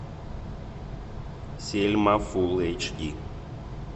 сельма фул эйч ди